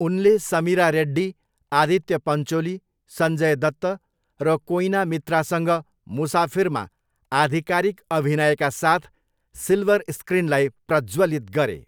उनले समिरा रेड्डी, आदित्य पञ्चोली, सञ्जय दत्त र कोइना मित्रासँग मुसाफिरमा आधिकारिक अभिनयका साथ सिल्वर स्क्रिनलाई प्रज्वलित गरे।